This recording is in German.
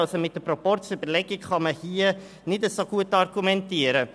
Also kann man hier mit der Proporzüberlegung nicht so gut argumentieren.